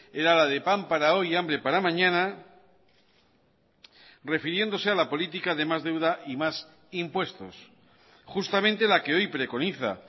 era la de pan para hoy y hambre para mañana refiriéndose a la política de más deuda y más impuestos justamente la que hoy preconiza